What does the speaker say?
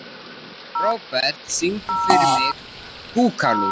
Robert, syngdu fyrir mig „Búkalú“.